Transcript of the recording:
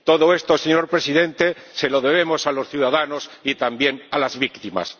UIF. Todo esto, señor Presidente, se lo debemos a los ciudadanos y también a las víctimas.